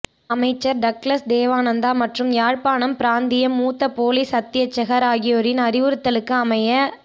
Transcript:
அமைச்சர் டக்ளஸ் தேவானந்தா மற்றும் யாழ்ப்பாணம் பிராந்திய மூத்த பொலிஸ் அத்தியட்சகர் ஆகியோரின் அறிவுறுத்தலுக்கு அமைய